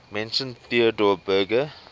mentioned theodor berger